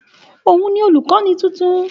Òun ni olùkọ́ni tuntun